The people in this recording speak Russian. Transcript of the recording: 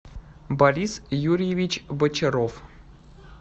борис юрьевич бочаров